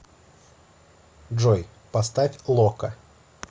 джой поставь локо